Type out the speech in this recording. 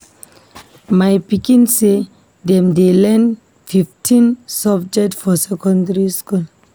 My pikin sey dem dey learn fifteen subject for secondary skool.